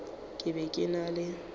ke be ke na le